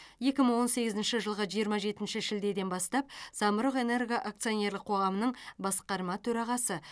екі мың он сегізінші жылғы жиырма жетінші шілдеден бастап самұрық энерго акционерлік қоғамының басқарма төрағасы